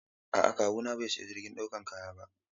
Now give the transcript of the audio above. A'a kawuna bai sayi jirgin dakon kaya ba.